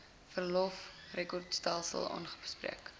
verlof rekordstelsel aangespreek